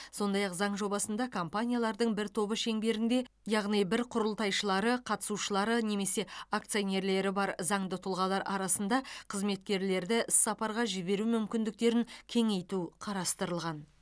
сондай ақ заң жобасында компаниялардың бір тобы шеңберінде яғни бір құрылтайшылары қатысушылары немесе акционерлері бар заңды тұлғалар арасында қызметкерлерді іссапарға жіберу мүмкіндіктерін кеңейту қарастырылған